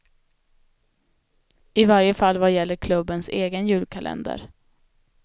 I varje fall vad gäller klubbens egen julkalender.